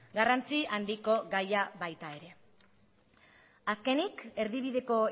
garrantzi handiko gaia baita ere azkenik erdibideko